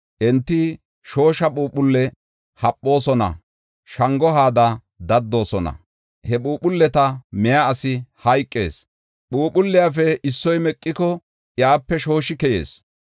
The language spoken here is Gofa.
Enti shoosha phuuphulle haphoosona; shango haada daddoosona. He phuuphulleta miya asi hayqees; phuuphulliyafe issoy meqiko, iyape shooshi keyees.